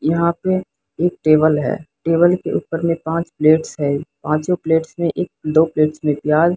यहां पे एक टेबल है टेबल के ऊपर में पांच प्लेट्स है पांचों प्लेट्स में एक दो प्लेट्स प्याज --